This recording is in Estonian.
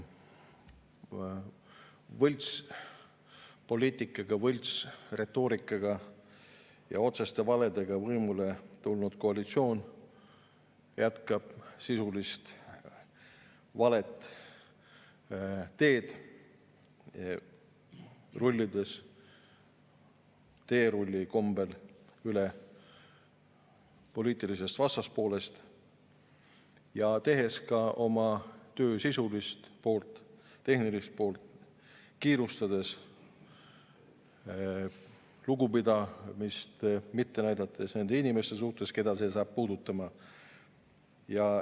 Võltspoliitikaga, võltsretoorikaga ja otseste valedega võimule tulnud koalitsioon jätkab sisulist valet teed, rullides teerulli kombel üle poliitilisest vastaspoolest ja tehes ka oma töö sisulist poolt, tehnilist poolt kiirustades, näitamata lugupidamist nende inimeste suhtes, keda see puudutab.